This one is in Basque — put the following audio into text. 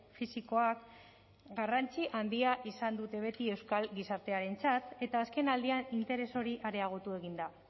fisikoak garrantzi handia izan dute beti euskal gizartearentzat eta azkenaldian interes hori areagotu egin da